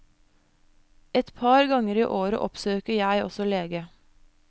Et par ganger i året oppsøker jeg også lege.